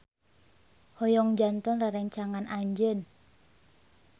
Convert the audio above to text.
Hoyong janten rerencangan anjeun.